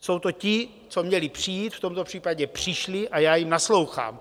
Jsou to ti, co měli přijít, v tomto případě přišli a já jim naslouchám.